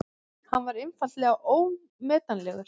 Hann er einfaldlega ómetanlegur.